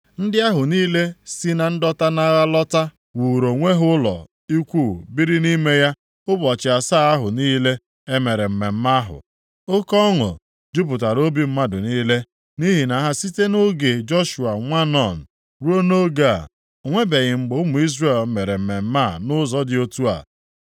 Ndị ahụ niile si na ndọta nʼagha lọta wuuru onwe ha ụlọ ikwu biri nʼime ya ụbọchị asaa ahụ niile e mere mmemme ahụ. Oke ọṅụ jupụtara obi mmadụ niile, nʼihi na site nʼoge Joshua nwa Nun ruo nʼoge a, o nwebeghị mgbe ụmụ Izrel mere mmemme a nʼụzọ dị otu a.